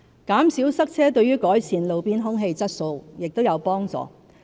減少塞車亦有助改善路邊空氣質素。